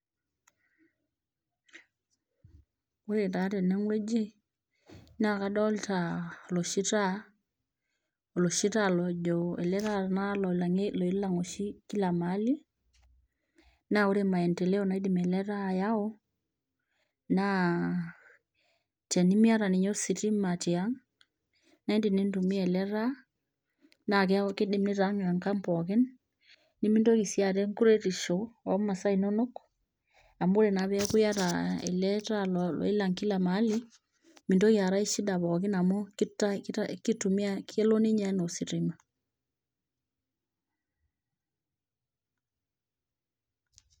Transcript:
Ore taa tenewueji naa kadolita oloshi taa oloshi taa lojo ele taata loilang' oshi kila mahali naa ore maendeleo naidim ele taa ayau naa tenimiata ninye ositima tiang naindim nintumia ele taa naa kidim nitawaang enkang pookin nimintoki sii aata enkuretisho omasaa inonok amu ore naa peeku iyata ele taa loo loilang kila mahali mintoki aata ae shida pookin amu kita kitumia kelo ninye enaa ositima.